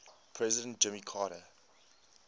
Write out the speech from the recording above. president jimmy carter